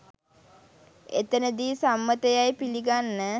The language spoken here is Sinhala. එතැනදී සම්මත යැයි පිළිගන්න